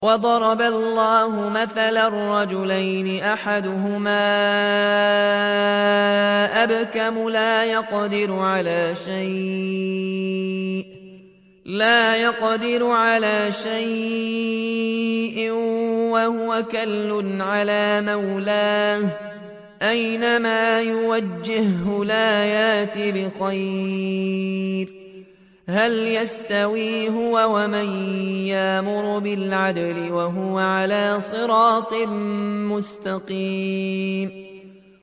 وَضَرَبَ اللَّهُ مَثَلًا رَّجُلَيْنِ أَحَدُهُمَا أَبْكَمُ لَا يَقْدِرُ عَلَىٰ شَيْءٍ وَهُوَ كَلٌّ عَلَىٰ مَوْلَاهُ أَيْنَمَا يُوَجِّههُّ لَا يَأْتِ بِخَيْرٍ ۖ هَلْ يَسْتَوِي هُوَ وَمَن يَأْمُرُ بِالْعَدْلِ ۙ وَهُوَ عَلَىٰ صِرَاطٍ مُّسْتَقِيمٍ